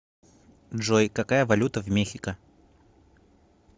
джой какая валюта в мехико